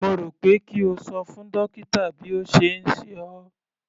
Mo rò pé kí o ṣo fún dókítà bí ó ṣe ń ṣe ọ́.